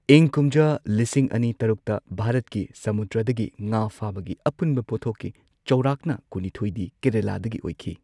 ꯏꯪ ꯀꯨꯝꯖꯥ ꯂꯤꯁꯤꯡ ꯑꯅꯤ ꯇꯔꯨꯛꯇ ꯚꯥꯔꯠꯀꯤ ꯁꯃꯨꯗ꯭ꯔꯗꯒꯤ ꯉꯥ ꯐꯥꯕꯒꯤ ꯑꯄꯨꯟꯕ ꯄꯣꯠꯊꯣꯛꯀꯤ ꯆꯥꯎꯔꯥꯛꯅ ꯀꯨꯟꯅꯤꯊꯣꯏꯗꯤ ꯀꯦꯔꯂꯥꯗꯒꯤ ꯑꯣꯏꯈꯤ꯫